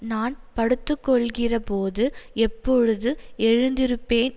நான் படுத்துக்கொள்ளுகிறபோது எப்பொழுது எழுந்திருப்பேன்